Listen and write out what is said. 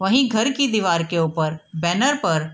वहीं घर की दीवार के ऊपर बैनर पर --